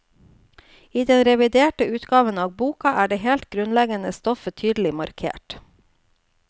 I den reviderte utgaven av boka er det helt grunnleggende stoffet tydelig markert.